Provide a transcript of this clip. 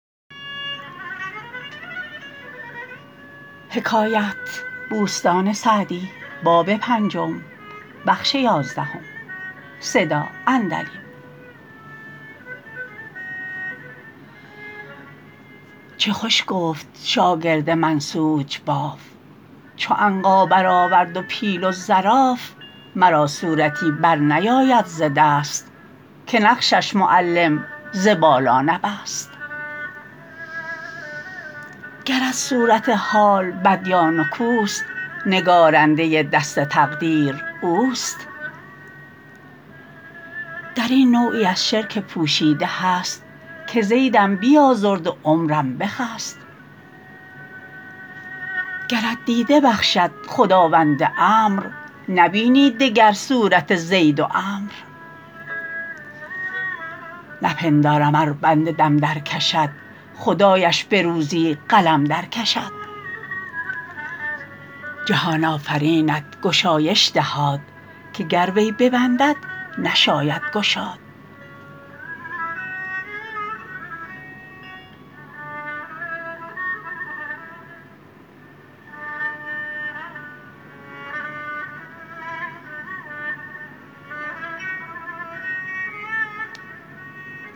چه خوش گفت شاگرد منسوج باف چو عنقا بر آورد و پیل و زراف مرا صورتی بر نیاید ز دست که نقشش معلم ز بالا نبست گرت صورت حال بد یا نکوست نگارنده دست تقدیر اوست در این نوعی از شرک پوشیده هست که زیدم بیازرد و عمروم بخست گرت دیده بخشد خداوند امر نبینی دگر صورت زید و عمرو نپندارم ار بنده دم در کشد خدایش به روزی قلم در کشد جهان آفرینت گشایش دهاد که گر وی ببندد که داند گشاد